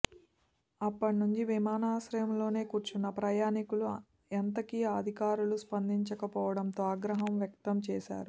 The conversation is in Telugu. అప్పటి నుంచి విమానాశ్రయంలోనే కూర్చున్న ప్రయణికులు ఎంతకీ అధికారులు స్పందించకపోవడంతో ఆగ్రహం వ్యక్తం చేశారు